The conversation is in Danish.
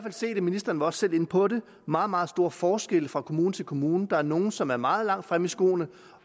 ministeren var også selv inde på det meget meget store forskelle fra kommune til kommune der er nogle som er meget langt fremme i skoene